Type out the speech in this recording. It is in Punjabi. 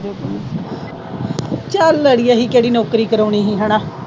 ਚਲ ਅੜੀਏ ਅਸੀਂ ਕਿਹੜਾ ਨੌਕਰੀ ਕਰਾਉਣੀ ਸੀ ਹਨਾ।